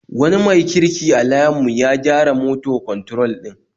Wani mai kirki a layin mu ya gyara moto kwantrol din